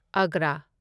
Agra